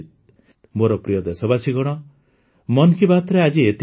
ମୋର ପ୍ରିୟ ଦେଶବାସୀଗଣ ମନ୍ କି ବାତ୍ରେ ଆଜି ଏତିକି